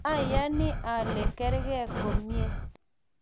ayani ale kargei komye